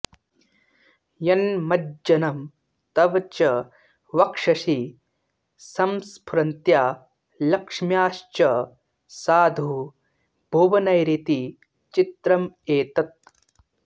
यन्मज्जनं तव च वक्षसि संस्फुरन्त्या लक्ष्म्याश्च साधु भुवनैरिति चित्रमेतत्